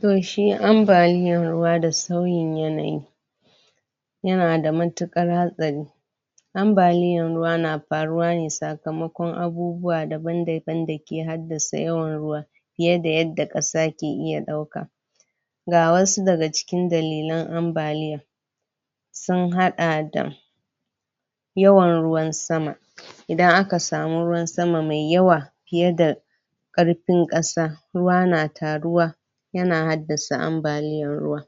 to shi ambaliyar ruwa da sauyin yanayi yana da matukar hatsari ambaliyar ruwa na faruwa ne sakamakon abubuwa daban daban dake haddasa yawa ruwa fiye da yadda kasa ke iya dauka ga wasu daga cikin dalilan ambaliyar ruwwa sun hada da yawan ruwan sama idan aka samu ruwan sama mai yawa fiye da karfin kasa ruwa na taruwa yana haddasa ambaliyar ruwa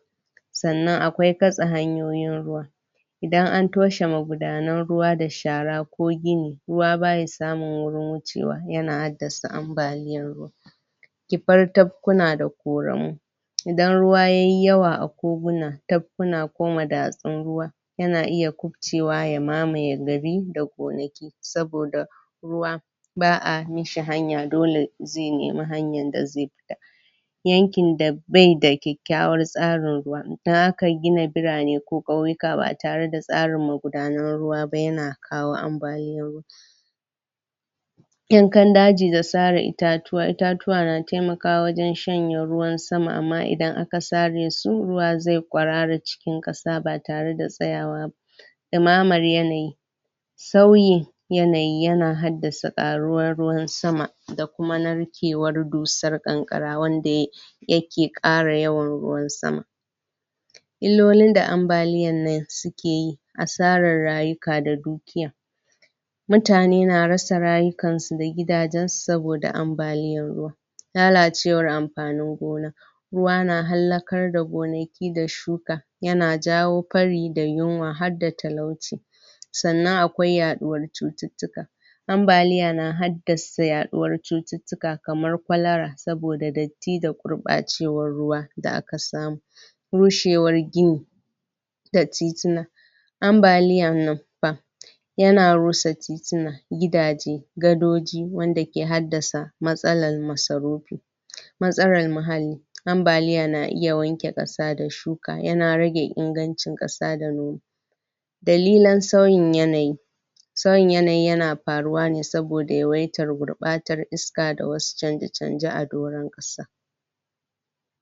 sannan akwai datse hanyoyin ruwa idan an toshe magudanan ruwa da shara ko gini ruwa baya samun gurin wuce yana haddasa ambaliyar ruwa ibartab kuna da koramu idan ruwa yayi yawa a koguna dapkuna ko madatsin ruwa yana iya kubcewa ya mamaye gari da gonaki saboda ruwa ba'a mashi hanya dole zai nemi hanyar da zai buda yakin da baida kyakkyawar tsarin ruwa dan haka gina birane ko kauyika ba tare da tsarin magudanun ruwa ba yana kawo ambaliya yankan daji da sare itatuwa na taimakwa wajen shanye ruwan sama amma idan aka sare su ruwa zai kwarara cikin kasa ba tare da tsayawa dumamar yanayi tauye yanayi yana haddasa karuwar sama da kuma narkewar dusar kankara wanda yai yake kara wayan ruwan sama illolin da ambaliyar nan sukeyi asarar rayuka da dukiyiyoyi mutane na rasa rayukan su da gidajen su saboda ambaliya lalacewar amfanin gona ruwa na hallakar da gonaki da shuka yana jawo fari da yinwa harda talauci sannan akai yaduwar cututtika ambaliya na hardasa yaduwar cutuka kamar kolara saboda datti da gurbacewar ruwa da aka samu rushewar gini da titina ambaliyar nanfa yana ruwa titina gidaje gadoji wanda ke haddasa matsalarmasarupi matsalar muhalli ambayila na iya wanke kasa da shuka yana rage ingancin kasa da noma kalilan sauyin yanayi sauyin yanayi yana faruwa ne saboda yawaitar gurbatar iska da kuma wasu chanje chanjen a doran kasa